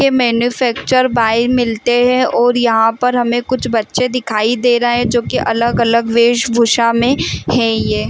ये manufacture by मिलते है और यहाँ पर हमें कुछ बच्चे दिखाई दे रहा है जो कि अलग-अलग वेशभूषा में है ये --